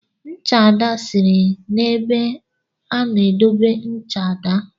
Ncha Ada siri na ebe a n'edobe ncha daa.